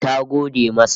Ta gode masa